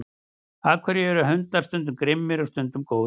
af hverju eru hundar stundum grimmir og stundum góðir